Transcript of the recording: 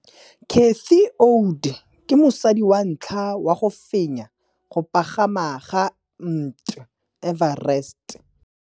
Cathy Odowd ke mosadi wa ntlha wa go fenya go pagama ga Mt Everest.